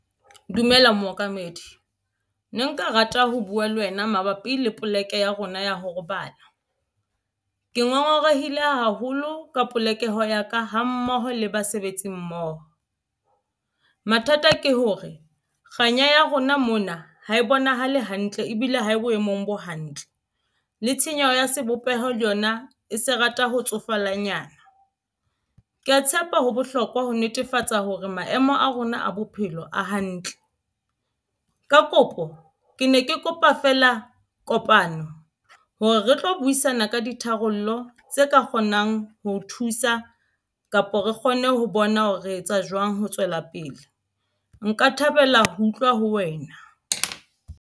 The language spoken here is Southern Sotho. Dumela mookamedi ne nka rata ho buwa le wena mabapi le poleke ya rona ya ho robala ke ngongorehile haholo ka polokeho ya ka hammoho le basebetsi mmoho. Mathata ke hore kganya ya rona mona ha e bonahale hantle ebile ha e boemong bo hantle le tshenyeho ya sebopeho le yona e se rata ho tsofalanyana ke ya tshepa ho bohlokwa ho netefatsa hore maemo a rona a bophelo a hantle. Ka kopo ke ne ke kopa feela kopano hore re tlo buisana ka ditharollo tse ka kgonang ho thusa kapo re kgone ho bona hore re etsa jwang. Ho tswela pele nka thabela ho utlwa ho wena.